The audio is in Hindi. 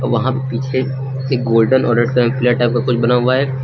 वहां पे पीछे एक गोल्डन और रेड कलर की लाइटा पे कुछ बना हुआ है।